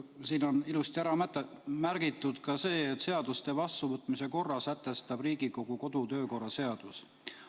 Siin on ilusti ära märgitud ka see, et seaduste vastuvõtmise korra sätestab Riigikogu kodu- ja töökorra seadus.